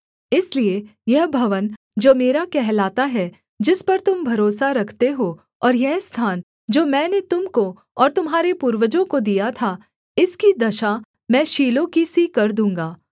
इसलिए यह भवन जो मेरा कहलाता है जिस पर तुम भरोसा रखते हो और यह स्थान जो मैंने तुम को और तुम्हारे पूर्वजों को दिया था इसकी दशा मैं शीलो की सी कर दूँगा